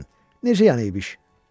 Necə yəni İbiş?